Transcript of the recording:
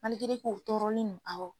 u tɔɔrɔlen don awɔ